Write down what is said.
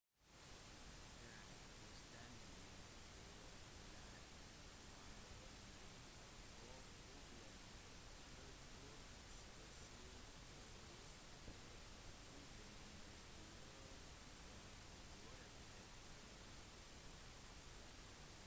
den fullstendig fjærkledde varmblodige rovfuglen har trolig spasere oppreist på 2 bein med klør som velociraptoren